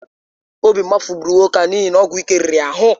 Obi mgbafu gburu nwoke ahụ n’ihi na ọgwụ ike riri ya ahụ.